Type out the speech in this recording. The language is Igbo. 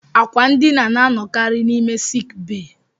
Àkwà ndina na-anọkarị n'ime sik bee